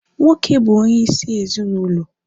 Nwoke bụ onye isi ezinụlọ